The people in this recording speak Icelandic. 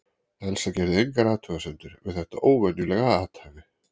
Elsa gerði engar athugasemdir við þetta óvenjulega athæfi.